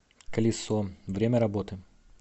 колесо время работы